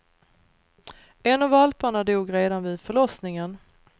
En av valparna dog redan vid förlossningen.